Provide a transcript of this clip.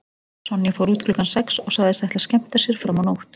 Sonja fór út klukkan sex og sagðist ætla að skemmta sér fram á nótt.